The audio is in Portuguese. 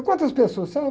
E quantas pessoas são?